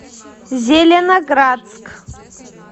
зеленоградск